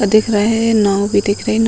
और दिख रहे हैं नाव भी दिख रही है ।